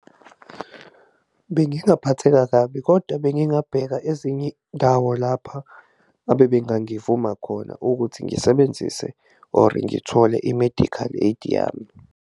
Bengingaphatheka kabi kodwa bengingabheka ezinye indawo lapha abebengangivuma khona ukuthi ngisebenzise or ngithole i-medical aid yami.